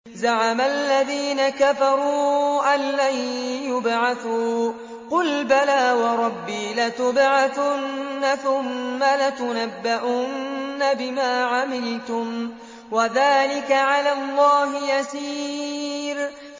زَعَمَ الَّذِينَ كَفَرُوا أَن لَّن يُبْعَثُوا ۚ قُلْ بَلَىٰ وَرَبِّي لَتُبْعَثُنَّ ثُمَّ لَتُنَبَّؤُنَّ بِمَا عَمِلْتُمْ ۚ وَذَٰلِكَ عَلَى اللَّهِ يَسِيرٌ